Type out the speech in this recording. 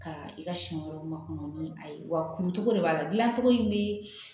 Ka i ka siɲɛ wɛrɛ ma kɔnɔ ni a ye wa kuntogo de b'a la gilan cogo in bi